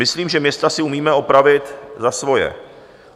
Myslím, že města si umíme opravit za svoje.